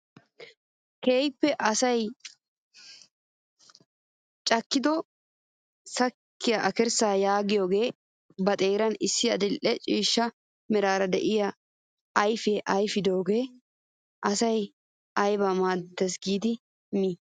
Keehippe asaa cadikko sakissiyaa akkirssaa yaagiyoogee ba xeeran issi adil'e ciishsha meraara de'iyaa ayfiyaa ayfidoogaa asay ayibaa maaddees giidi mii?